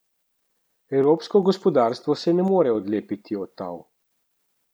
Evropsko gospodarstvo se ne more odlepiti od tal.